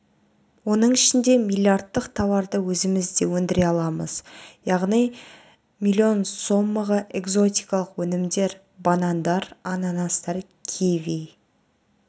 оның ішінде млрд-тық тауарды өзімізде өндіре аламыз яғни млн сомаға экзотикалық өнімдер банандар ананастар киви